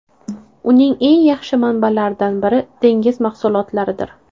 Uning eng yaxshi manbalaridan biri dengiz mahsulotlaridir.